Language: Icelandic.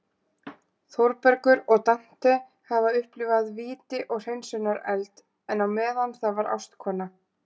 Þórbergur og Dante hafa upplifað víti og hreinsunareld, en á meðan það var ástkona